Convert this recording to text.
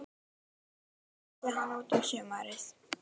Stóð til að flytja hann út um sumarið.